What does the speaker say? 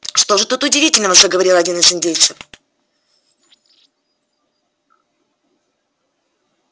что же тут удивительного заговорил один из индейцев